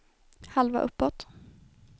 halva uppåt